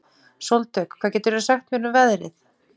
Sóldögg, hvað geturðu sagt mér um veðrið?